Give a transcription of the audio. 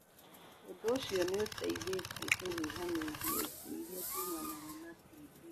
Ũndũ ũcio nĩ ũteithĩtie kũnyihanyihia ikuũ iria ciumanaga na TB.